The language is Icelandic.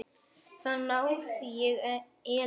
Þar náði ég Ellu.